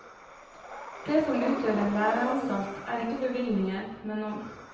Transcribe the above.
Det som utgjør en læreanstalt, er ikke bevilgninger, men ånd.